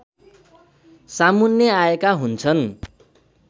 सामुन्ने आएका हुन्छ्न्